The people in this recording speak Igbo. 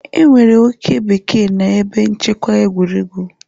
Enwere oke bekee na ebe nchekwa egwuregwu.